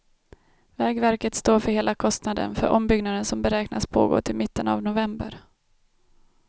Vägverket står för hela kostnaden för ombyggnaden som beräknas pågå till mitten av november.